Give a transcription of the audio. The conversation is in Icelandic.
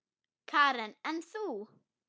Karen: En þú?